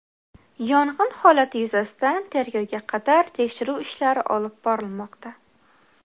Yong‘in holati yuzasidan tergovga qadar tekshiruv ishlari olib borilmoqda.